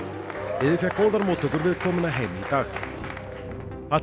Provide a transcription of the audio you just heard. liðið fékk góðar mótttökur við komuna heim í dag